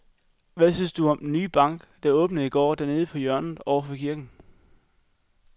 Hvad synes du om den nye bank, der åbnede i går dernede på hjørnet over for kirken?